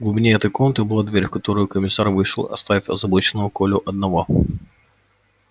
в глубине этой комнаты была дверь в которую комиссар вышел оставив озабоченного колю одного